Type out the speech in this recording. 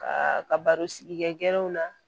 Ka ka baro sigi kɛw na